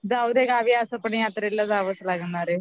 जाऊदे असं पण गावी यात्रेला जावंच लागणारे